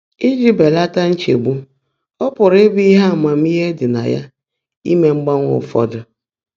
Íjí bèlátá nchegbú, ọ́ pụ́rụ́ íbụ́ íhe ámaàmíhé ḍị́ nà yá íme mgbańwé ụfọ́dụ́.